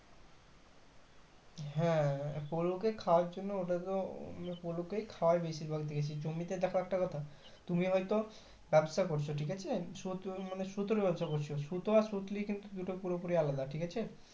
হ্যাঁ, পলুকে খাওয়ার জন্য ওটাতো মানে পলুকেই খায়াই বেশির ভাগ দেখেছি জমিতে দেখো একটা কথা তুমি হয়তো ব্যাবসা করছো ঠিকাছে সুতো মানে সুতোর ব্যবসা করছো সুতো আর সুতলি দুটো পুরোপুরি আলাদা ঠিক আছে।